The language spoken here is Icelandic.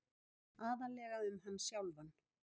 Aðallega um hann sjálfan.